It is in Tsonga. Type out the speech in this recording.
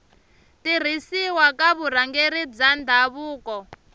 tirhisiwa ka vurhangeri bya ndhavuko